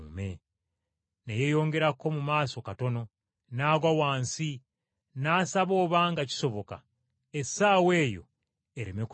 Ne yeeyongerako mu maaso katono, n’agwa wansi n’asaba obanga kisoboka, essaawa eyo, ereme kutuuka.